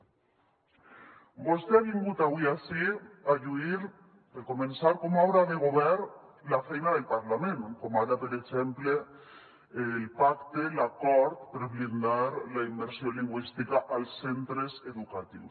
vostè ha vingut avui ací a lluir per començar com a obra de govern la feina del parlament com ara per exemple el pacte l’acord per blindar la immersió lingüística als centres educatius